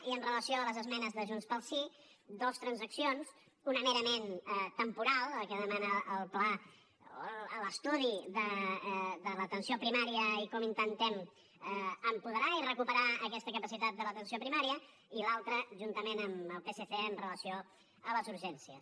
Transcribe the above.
i amb relació a les esmenes de junts pel sí dues transaccions una merament temporal la que demana el pla o l’estudi de l’atenció primària i com intentem apoderar i recuperar aquesta capacitat de l’atenció primària i l’altra juntament amb el psc amb relació a les urgències